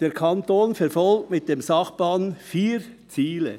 «Der Kanton verfolgt mit dem Sachplan vier Ziele: